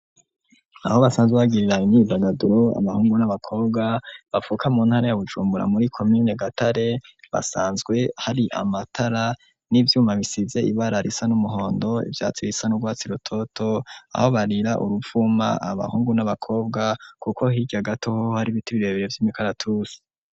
Aho basanzwe bagirira imyidagaduro, abahungu n'abakobwa bavuka mu ntara ya Bujumbura muri komine Gatare, hasanzwe hari amatara n'ivyuma bisize ibara risa n'umuhondo, ivyatsi bisa n'urwatsi rutoto aho barira uruvuma abahungu n'abakobwa, kuko hirya gato ho, har'ibiti birebire vy'imikaratusi.